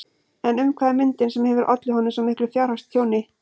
En um hvað er myndin sem hefur ollið honum svo miklu fjárhagstjóni?